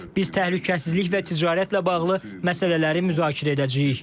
Biz təhlükəsizlik və ticarətlə bağlı məsələləri müzakirə edəcəyik.